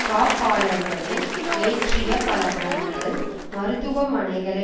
காப்பாளர்களை ஏற்றிய பல வேன்கள் மருத்துவ மனைகளை